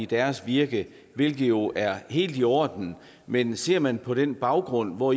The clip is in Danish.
deres virke hvilket jo er helt i orden men ser man på den baggrund hvor